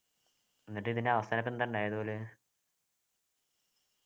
എന്നിട്ട് ഇതിൻ്റെ അവസാനത്ത് എന്താ ഉണ്ടായത് പോലും